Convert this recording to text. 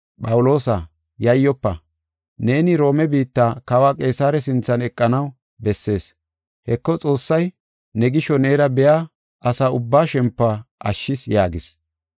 ‘Phawuloosa, yayyofa; neeni Roome biitta Kawa Qeesare sinthan eqanaw bessees. Heko Xoossay ne gisho neera biya asa ubbaa shempuwa ashshis’ yaagis.